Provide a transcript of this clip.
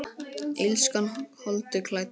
Illskan holdi klædd?